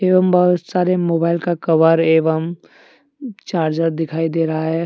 एवं बहुत सारे मोबाइल का कवर एवं चार्जर दिखाई दे रहा है।